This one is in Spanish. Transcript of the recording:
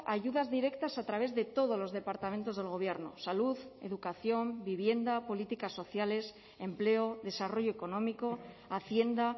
ayudas directas a través de todos los departamentos del gobierno salud educación vivienda políticas sociales empleo desarrollo económico hacienda